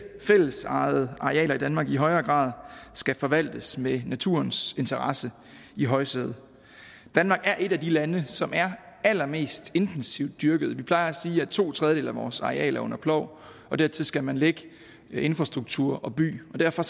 fællesejede arealer i danmark i højere grad skal forvaltes med naturens interesse i højsædet danmark er et af de lande som er allermest intensivt dyrket vi plejer at sige at to tredjedele af vores arealer er under plov og dertil skal man lægge infrastruktur og by og derfor